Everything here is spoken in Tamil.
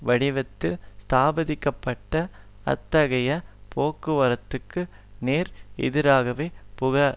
வடிவத்தில் ஸ்தாபிக்க பட்ட அத்தகைய போக்குகளுக்கு நேர் எதிராகவே புகக